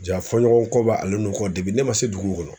Ja fɔ ɲɔgɔn kɔba ale ne ma se dugu kɔnɔ.